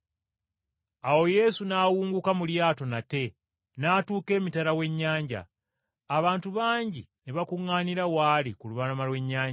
Awo Yesu n’awunguka mu lyato nate n’atuuka emitala w’ennyanja. Abantu bangi ne bakuŋŋaanira w’ali ku lubalama lw’ennyanja.